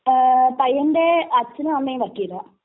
ങാ..പയ്യന്റെ അച്ഛനുമമ്മയും വക്കീലാ.